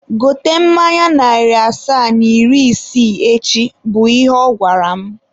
Gote mmanya narị asaa na iri isii echi! bụ ihe ọ gwara m.